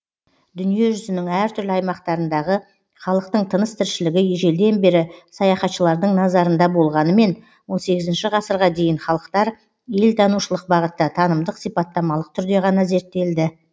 дүниежүзінің әр түрлі аймақтарындағы халықтың тыныс тіршілігі ежелден бері саяхатшылардың назарында болғанымен он сегізінші ғасырға дейін халықтар елтанушылық бағытта танымдық сипаттамалық түрде ғана зерттелді